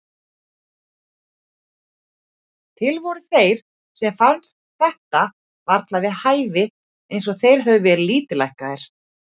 Til voru þeir sem fannst þetta varla við hæfi, eins og þeir hefðu verið lítillækkaðir.